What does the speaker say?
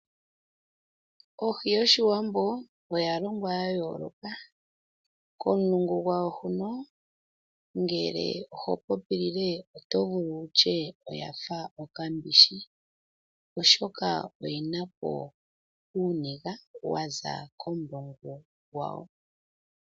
Ohi yOshiwambo oya longwa ya yooloka komulungu gwawo, ngele oho popilile oto vulu wu tye oyafa okambishi, oshoka oyi na po uumbenzi wa za komulungu gwawo.